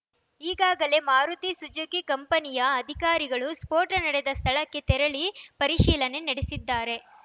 ಈಗಾಗಲೇ ಮಾರುತಿ ಸುಜುಕಿ ಕಂಪನಿಯ ಅಧಿಕಾರಿಗಳು ಸ್ಫೋಟ ನಡೆದ ಸ್ಥಳಕ್ಕೆ ತೆರಳಿ ಪರಿಶೀಲನೆ ನಡೆಸಿದ್ದಾರೆ